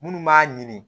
Minnu b'a ɲini